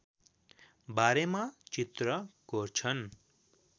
बारेमा चित्र कोर्छन्